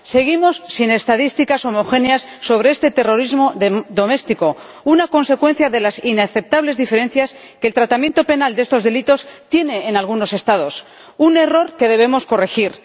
Seguimos sin estadísticas homogéneas sobre este terrorismo doméstico, una consecuencia de las inaceptables diferencias que el tratamiento penal de estos delitos tiene en algunos Estados un error que debemos corregir.